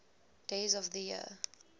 days of the year